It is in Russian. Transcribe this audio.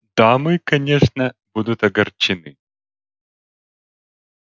дамы конечно будут огорчены